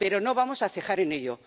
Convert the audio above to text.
Pero no vamos a cejar en ello.